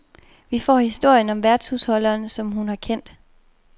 Vi får historien om værtshusholderen, som hun har kendt.